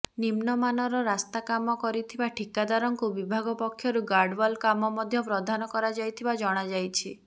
ନିମ୍ନମାନର ରାସ୍ତା କାମ କରିଥିବା ଠିକାଦାରଙ୍କୁ ବିଭାଗ ପକ୍ଷରୁ ଗାର୍ଡୱାଲ କାମ ମଧ୍ୟ ପ୍ରଦାନ କରାଯାଇଥିବା ଜଣାଯାଇଛି